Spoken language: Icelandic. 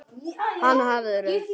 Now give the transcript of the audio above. Hana hafðir þú.